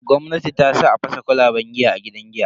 Gwamnati tasa a fasa kwalaban giya a gidan giya.